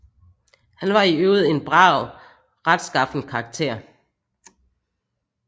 Han var i øvrigt en brav og retskaffen karakter